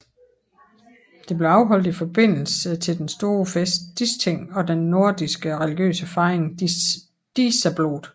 Det blev afholdt i forbindelse til den store fest Disting og den nordiske religiøse fejring Dísablót